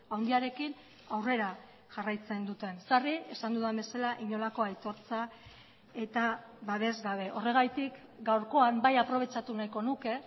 handiarekin aurrera jarraitzen duten sarri esan dudan bezala inolako aitortza eta babes gabe horregatik gaurkoan bai aprobetxatu nahiko nuke